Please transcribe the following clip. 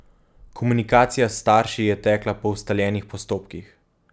Komunikacija s starši je tekla po ustaljenih postopkih.